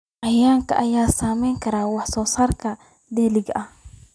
Cayayaanka ayaa saameyn kara wax soo saarka dalagga.